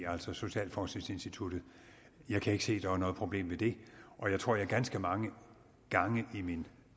altså socialforskningsinstituttets jeg kan ikke se at der er noget problem i det og jeg tror jeg ganske mange gange i min